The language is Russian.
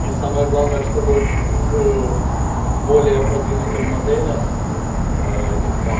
и самое главное чтобы к более продвинутым моделям